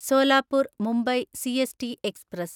Solapur Mumbai CST express